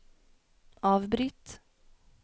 avbryt